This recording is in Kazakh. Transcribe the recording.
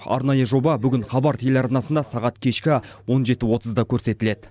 арнайы жоба бүгін хабар телеарнасында сағат кешкі он жеті отызда көрсетіледі